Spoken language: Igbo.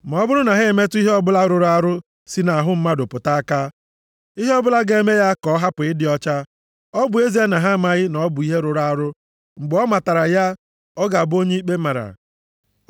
Ma ọ bụrụ na ha emetụ ihe ọbụla rụrụ arụ si nʼahụ mmadụ pụta aka, ihe ọbụla ga-eme ya ka ọ hapụ ịdị ọcha, ọ bụ ezie na ha amaghị na ọ bụ ihe rụrụ arụ, mgbe ọ matara ya, ọ ga-abụ onye ikpe mara.